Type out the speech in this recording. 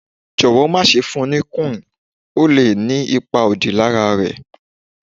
jọwọ ma ṣe fún ní Quinn, ó lé ní ipá òdí lara é